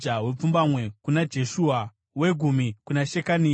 wepfumbamwe kuna Jeshua, wegumi kuna Shekania,